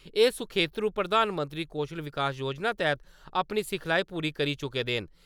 एह् सखेत्रु प्रधानमंत्री कौशल विकास योजना तैह्त अपनी सिखलाई पूरी करी चुके दे न ।